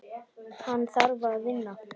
Hann þarf að vinna.